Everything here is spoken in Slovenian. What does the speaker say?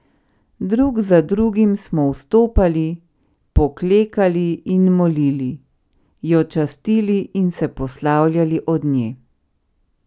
Drug za drugim smo vstopali, poklekali in molili, jo častili in se poslavljali od nje.